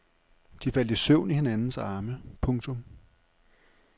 De faldt i søvn i hinandens arme. punktum